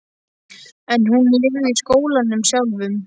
En hún lifði í skólanum sjálfum.